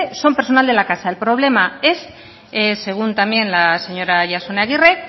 son personal de la casa el problema es según también la señora jasone